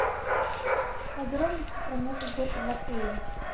подробности про новый год в отеле